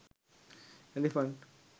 elephant